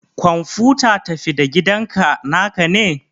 kwamfuta tafi-da-gidanka naka ne?